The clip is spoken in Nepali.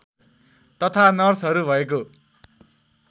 तथा नर्सहरू भएको